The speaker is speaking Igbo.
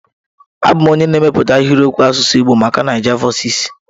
Abụ m onye na-emepụta ahịrịokwu asụsụ Igbo maka Naijavoices.